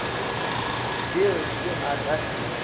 dire se a ka se